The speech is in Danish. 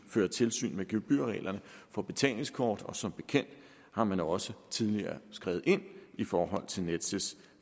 fører tilsyn med gebyrreglerne for betalingskort og som bekendt har man også tidligere skredet ind i forhold til nets